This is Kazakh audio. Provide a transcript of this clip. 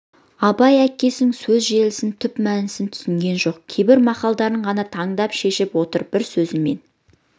абай әкесінің сөз желісін түп мәнісін түсінген жоқ кейбір мақалдарын ғана таңдана шешіп отыр бір сөзімен